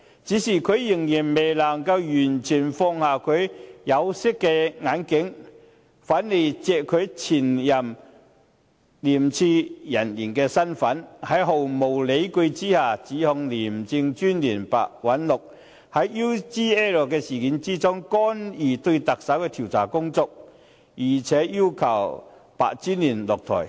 可是，他未能完全脫下他的有色眼鏡，仍然利用他身為前廉政公署人員的身份，在毫無理據的情況下，指控廉政專員白韞六在 UGL 事件中，干預對特首進行的調查工作，並且要求白專員下台。